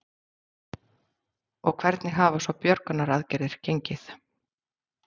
Og hvernig hafa svo björgunaraðgerðir gengi?